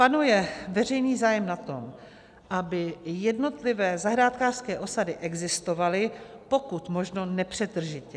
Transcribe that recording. Panuje veřejný zájem na tom, aby jednotlivé zahrádkářské osady existovaly pokud možno nepřetržitě.